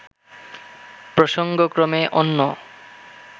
প্রসঙ্গক্রমে অন্য